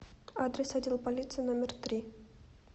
адрес отдел полиции номер три